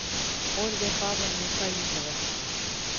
ольгой павловной фаизовой